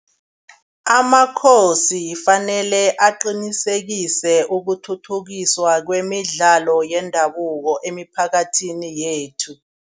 Amakhosi fanele aqinisekise ukuthuthukiswa kwemidlalo yendabuko emiphakathini yethu.